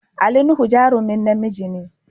Ali Nuhu jarumin namiji ne.